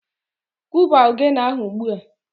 Kụba ogene ahụ ugbua!